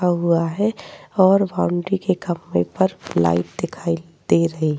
का हुआ है और बाउंड्री के पेपर लाइट दिखाई दे रही --